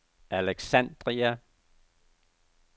Alexandria